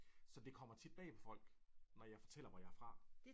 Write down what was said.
Så det kommer tit bag på folk når jeg fortæller hvor jeg er fra